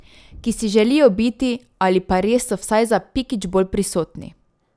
Ki si želijo biti ali pa res so vsaj za pikič bolj prisotni.